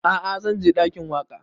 A'a zan je ɗakin waƙa